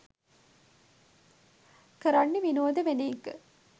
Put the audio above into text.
කරන්නේ විනෝද වෙන එක.